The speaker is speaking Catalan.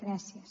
gràcies